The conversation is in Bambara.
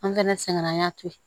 An kɛnɛ sɛgɛn an y'a to yen